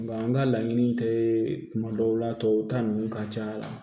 an ka laɲini tɛ kuma dɔw la tubabuw ta nunnu ka ca